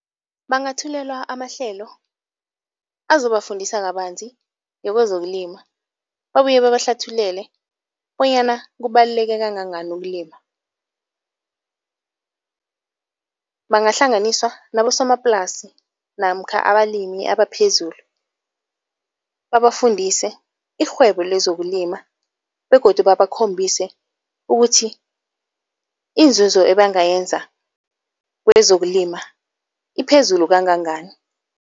Bangathulelwa amahlelo azobafundisa kabanzi ngokwezokulima. Babuye babahlathululele bonyana kubaluleke kangangani ukulima. Bangahlanganiswa nabosomaplasi namkha abalimi abaphezulu, babafundise irhwebo lezokulima begodu babakhombise ukuthi iinzuzo ebangayenza kwezokulima iphezulu kangangani.